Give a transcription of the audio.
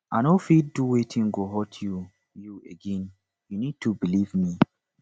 i no fit do wetin go hurt you you again you need to believe me